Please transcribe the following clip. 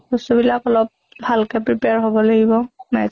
বস্তু বিলাক অলপ ভাল কে prepare হʼব লাগিব, maths